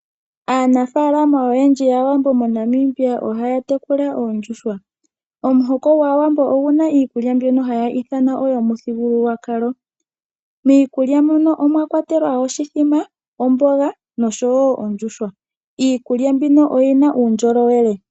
Aanafaalama oyendji yAawambo moNamibia ohaya tekula oondjuhwa. Omuhoko gwAawambo oguna iikulya mbyoka hayi ithanwa oyomuthigululwakalo, miikulya muno omwa kwatelwa oshithima, omboga nosho wo ondjuhwa. Iikulya mbino oyina uundjolowele.